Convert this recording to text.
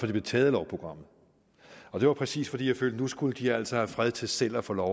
det blev taget af lovprogrammet og det var præcis fordi jeg følte at nu skulle de altså have fred til selv at få lov